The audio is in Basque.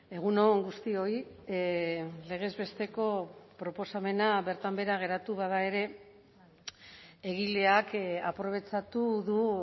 egun on guztioi legez besteko proposamena bertan behera geratu bada ere egileak aprobetxatu du